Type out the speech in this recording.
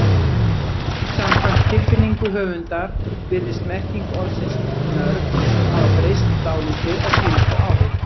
Samkvæmt tilfinningu höfundar virðist merking orðsins nörd hafa breyst dálítið á síðustu árum.